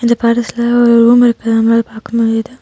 இந்த படத்துல ஒரு ரூம் இருக்குற மாதிரி பாக்க முடியிது.